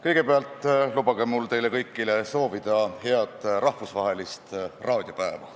Kõigepealt lubage mul teile kõigile soovida head rahvusvahelist raadiopäeva.